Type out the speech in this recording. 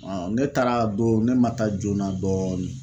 ne taara don ne ma taa joona dɔɔnin.